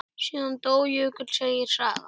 Síðan dó Jökull, segir sagan.